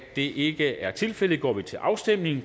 det ikke er tilfældet går vi til afstemning